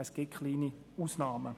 es gibt wenige Ausnahmen.